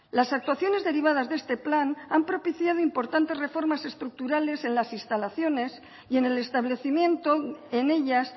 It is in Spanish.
las actuaciones derivadas de este plan han propiciado importantes reformas estructurales en las instalaciones y en el establecimiento en ellas